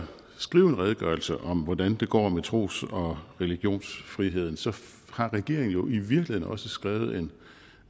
skrive en redegørelse om hvordan det går med tros og religionsfriheden så har regeringen jo i virkeligheden også skrevet en